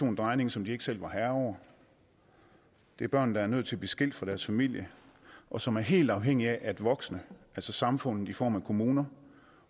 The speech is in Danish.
en drejning som de ikke selv er herre over det er børn der er nødt til at blive skilt fra deres familie og som er helt afhængige af at samfundet i form af kommuner